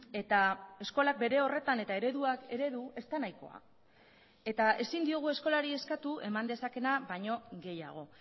eta eskolak bere horretan eta ereduak eredu ez da nahikoa eta ezin diogu eskolari eskatu eman dezakeena baino gehiago